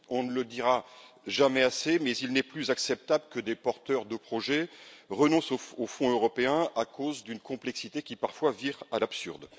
On ne le dira jamais assez mais il n'est plus acceptable que des porteurs de projets renoncent aux fonds européens à cause d'une complexité qui, parfois, vire à l'absurde.